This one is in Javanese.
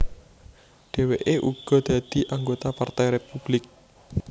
Dhèwèké uga dadi anggota Partai Républik